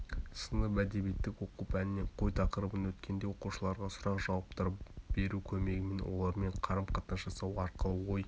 сынып әдебиеттік оқу пәнінен қой тақырыбын өткенде оқушыларға сұрақ-жауаптар беру көмегімен олармен қарым-қатынас жасау арқылы ой